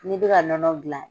N'i bɛ ka nɔnɔ gilan.